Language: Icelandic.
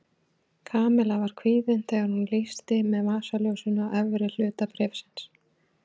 Kamilla var kvíðin þegar hún lýsti með vasaljósinu á efri hluta bréfsins.